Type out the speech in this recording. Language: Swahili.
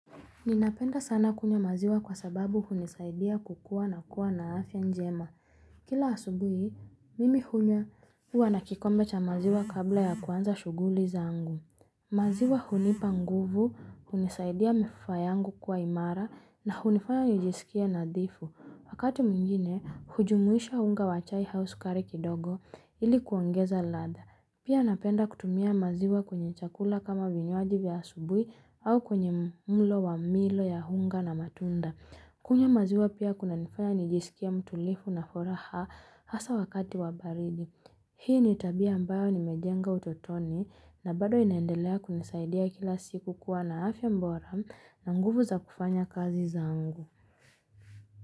Ninapenda sana kunywa maziwa kwa sababu hunisaidia kukua na kuwa na afya njema. Kila asubuhi, mimi hunywa huwa na kikombe cha maziwa kabla ya kuanza shughuli za angu. Maziwa hunipa nguvu, hunisaidia mifua yangu kuwa imara na hunifanya nijisikie nadhifu. Wakati mwingine, hujumuisha unga wachai au sukari kidogo ili kuongeza ladha. Pia napenda kutumia maziwa kwenye chakula kama vinywajivya asubuhi au kwenye mlo wa milo ya unga na matunda. Kunywa maziwa pia kunanifanya nijisikie mtulivu na furaha hasa wakati wabaridi. Hii ni tabia ambayo ni mejenga utotoni na bado inaendelea kunisaidia kila siku kuwa na afya bora na nguvu za kufanya kazi zangu.